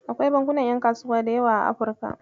Akwai bankunan ƴan kasuwa da yawa a Afrika.